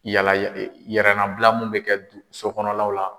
Yala ye e yɛlɛlabila min be kɛ bi so kɔnɔlaw la